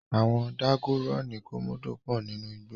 Àwon dágónì komodo pò nínú igbó